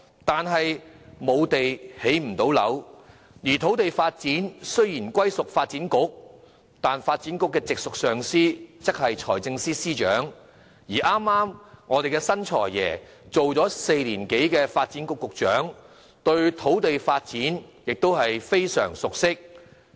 但是，沒有土地便不能建屋，而土地發展雖隸屬發展局，發展局的直屬上司卻是財政司司長，而新任"財爺"剛好當了4年多的發展局局長，對土地發展亦非常熟悉。